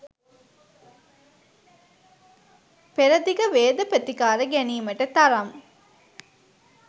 පෙරදිග වේද ප්‍රතිකාර ගැනීමට තරම්